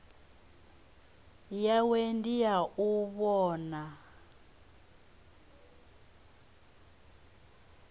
yawe ndi ya u vhona